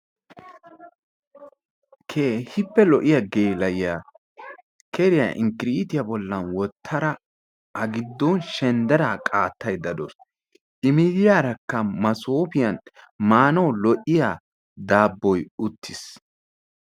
Keehippe lo'iyaa gela'iya keeriya inkkkiritiya bollan wottada a giddon shenddera qattayda deawus. I miyiyaraka masoppiyan maanawu lo'iya daaboy uttiis.